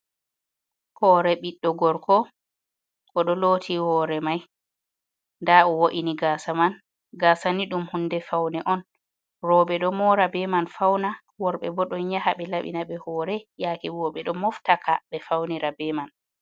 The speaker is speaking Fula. Hore ɓiɗdo gorko oɗo loti hore mai nda o wo’ini gasa man, gasani ɗum hunde faune on roɓɓe ɗo mora be man fauna worɓe bo ɗon yaha be labina ɓe hore yake go ɓeɗo moftaka ɓe faunira be man.